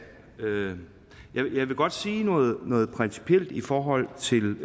jeg vil godt sige noget noget principielt i forhold til